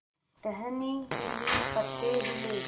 टहनी हिली पत्ते हिले